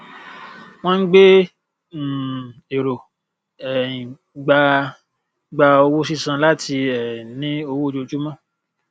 wọn ń gbé um èrò um gba gba owó sísan láti um ní owó ojoojúmọ